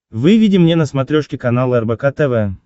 выведи мне на смотрешке канал рбк тв